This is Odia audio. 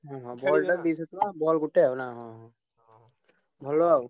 ହଁ ball ଟା ଦିଶହ ଟଙ୍କା ball ଗୋଟେ ଆଉ ନା ଭଲ ଆଉ।